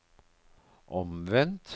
omvendt